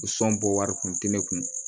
Sɔn bɔ wari kun tɛ ne kun